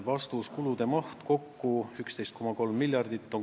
Vastus: kulude maht on kokku 11,3 miljardit.